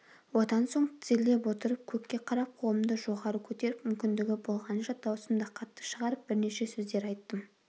одан соң тізерлеп отырып көкке қарап қолымды жоғары көтеріп мүмкіндігі болғанынша даусымды қатты шығарып бірнеше сөздер айттым